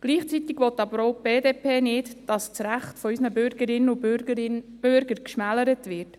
Gleichzeitig will die BDP auch nicht, dass das Recht unserer Bürgerinnen und Bürger geschmälert wird.